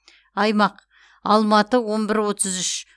аймақ алматы он бір отыз үш